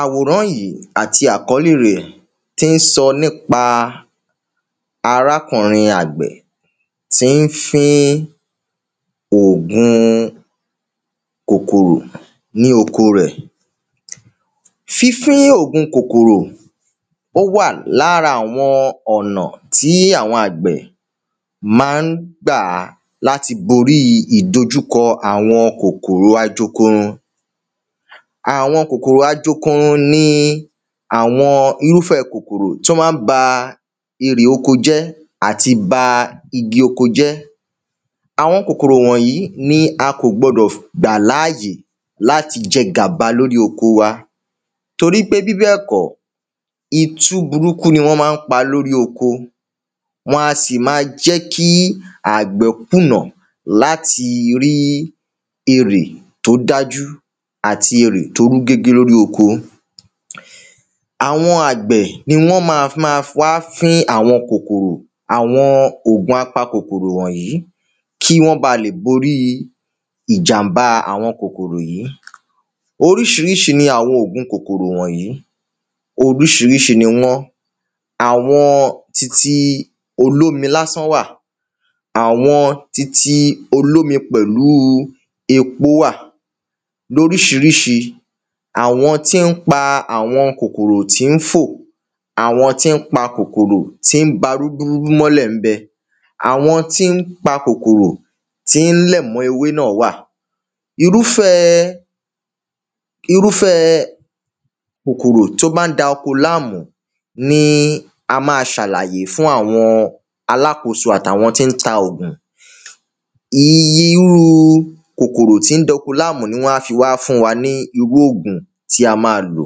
Àwòrán yìí àti àkọ́lè rẹ̀ tí ń sọ nípa arákùnrin àgbè tí ń fín òògun kòkòrò ní oko rẹ̀. Fínfín òògun kòkòrò ó wà lára àwọn ọ̀nà tí àwọn àgbẹ̀ má ń gbà láti bórí ìdojúkọ àwọn kòkòrò ajokorun. Àwọn kòkòrò ajokorun ni àwọn irúfẹ́ kòkòrò tí wọ́n má ń ba eɹè oko jẹ́ àti ba igi oko jẹ́. Àwọn kòkòrò wọ̀nyí ni a kò gbọdọ̀ gbà láàyè láti jẹ gàba lórí oko wa torípé bíbẹ̀ kọ́ itú burúkú ni wọ́n má ń pa lórí oko wọn a sì má jẹ́ kí àgbẹ̀ kùnà láti rí erè tó dájú àti erè tó rú gégé lórí oko. Àwọn àgbẹ̀ ni wọ́n má má wá fín àwọn kòkòrò àwọn òògun apa kòkòrò wọ̀nyí kí wọ́n bá le bórí ìjàmbá àwọn kòkòrò wònyí. oríṣiríṣi ni àwọn òògùn kòkòrò wònyí oríṣiríṣi ni wọ́n àwọn titi olomi lásán wà àwọn titi olómi pẹ̀lú epo wà lóríṣiríṣi. Àwọn tí ń pa àwọn kòkòrò tí ń fò Àwọn tí ń pa kòkòrò tí ń ba rúdúrúdú mọ́lẹ̀ ń bẹ. Àwọn tí ń pa kòkòrò tí ń lẹ̀ mọ́ ewé náà wà Irúfẹ́ Irúfẹ́ kòkòrò tó má ń da oko láàmú ni a má ṣàlàyé fún àwọn alákoso àti àwọn tí ń ta òògùn Irú kòkòrò tí ń da oko láàmú ni wọ́n á fi wá fún wa ní irú òògùn tí a má lò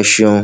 ẹṣeun.